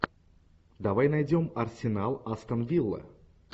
давай найдем арсенал астон вилла